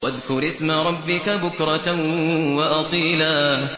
وَاذْكُرِ اسْمَ رَبِّكَ بُكْرَةً وَأَصِيلًا